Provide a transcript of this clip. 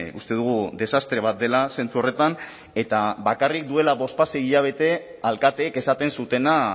uste dugu desastre bat dela zentzu horretan eta bakarrik duela bospasei hilabete alkateek esaten zutena